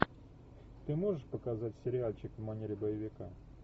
ты можешь показать сериальчик в манере боевика